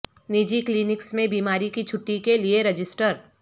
نجی کلینکس میں بیماری کی چھٹی کے لئے رجسٹر